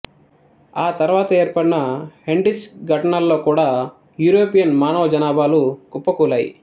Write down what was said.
ఆ తరువాత ఏర్పాడిన హెన్రిచ్ ఘటనల్లో కూడా యూరోపియన్ మానవ జనాభాలు కుప్పకూలాయి